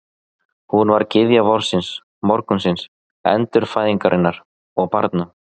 Hún var gyðja vorsins, morgunsins, endurfæðingarinnar og barna.